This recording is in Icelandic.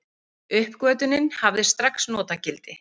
Uppgötvunin hafði strax notagildi.